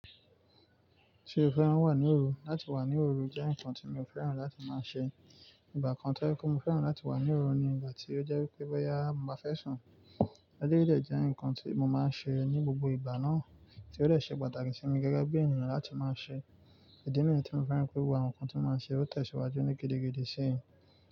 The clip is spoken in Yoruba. Tí o fẹ́ràn wà ní òru, láti wà ní òru jẹ́ nǹkan tí mi ò fẹ́ràn láti máa ṣe. Ìgbà kan tó jẹ́ pe mo fẹ́ràn láti wà ní òru ni ìgbà tí ó jẹ́ pé bọ́yá mo bá fẹ́ sùn, eleyii dẹ́ jẹ́ nǹkan tí mo máa ń ṣe ní gbogbo ìgbà náà, tí ó de ṣe pàtàkì sí mi gẹ́gẹ́ bí ènìyàn láti máa ṣe. Ìdí nìyí tí mo fẹ́ràn pé gbogbo àwọn nǹkan tí mo máa ń ṣe ó tẹ̀síwájú ní gidigidi síyì.